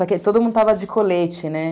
Só que todo mundo estava de colete, né?